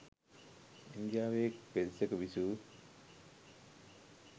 ඉන්දියාවේ එක් පෙදෙසක විසූ